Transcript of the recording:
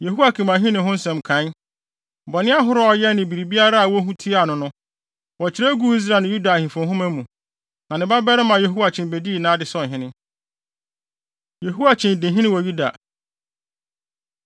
Yehoiakim ahenni ho nsɛm nkae, bɔne ahorow a ɔyɛe ne biribiara a wohu tiaa no no, wɔkyerɛw guu Israel ne Yuda Ahemfo Nhoma mu. Na ne babarima Yehoiakyin bedii nʼade sɛ ɔhene. Yehoiakyin Di Hene Wɔ Yuda